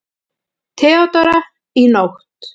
THEODÓRA: Í nótt.